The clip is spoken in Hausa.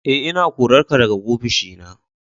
E, ina korarka daga ofishi na.